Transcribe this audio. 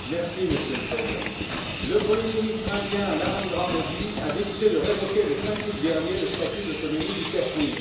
Monsieur le Président, le premier ministre indien, Narendra Modi, a décidé de révoquer, le 5 août dernier, le statut d'autonomie du Cachemire.